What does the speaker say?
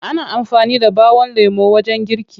Ana amfani da ɓawon lemo wajen girki.